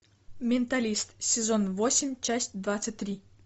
менталист сезон восемь часть двадцать три